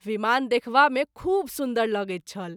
विमान देखवा मे खूब सुन्दर लगैत छल।